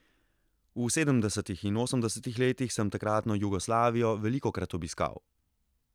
V sedemdesetih in osemdesetih letih sem takratno Jugoslavijo velikokrat obiskal.